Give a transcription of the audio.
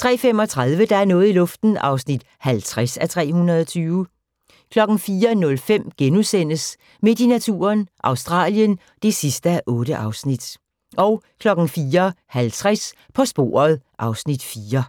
03:35: Der er noget i luften (50:320) 04:05: Midt i naturen – Australien (8:8)* 04:50: På sporet (Afs. 4)